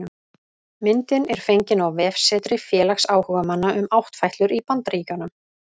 Myndin er fengin á vefsetri félags áhugamanna um áttfætlur í Bandaríkjunum